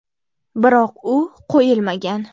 Biroq u qo‘yilmagan.